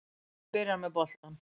Fram byrjar með boltann